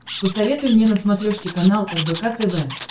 посоветуй мне на смотрешке канал рбк тв